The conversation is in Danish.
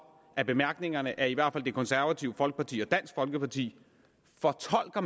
af bemærkningerne at i hvert fald det konservative folkeparti og dansk folkeparti fortolker